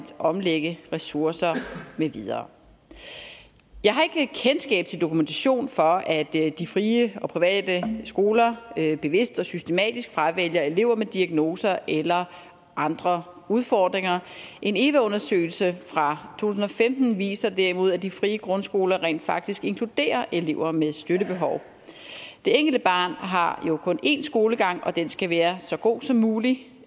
omlægge ressourcer med videre jeg har ikke kendskab til dokumentation for at de frie og private skoler bevidst og systematisk fravælger elever med diagnoser eller andre udfordringer en eva undersøgelse fra tusind og femten viser derimod at de frie grundskoler rent faktisk inkluderer elever med støttebehov det enkelte barn har jo kun en skolegang og den skal være så god som mulig